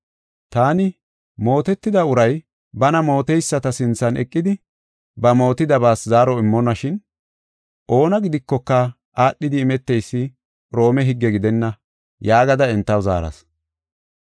Taani, ‘Mootetida uray bana mooteyisata sinthan eqidi ba mootidabaas zaaro immonnashin, oona gidikoka aadhidi imeteysi Roome higge gidenna’ yaagada entaw zaaras.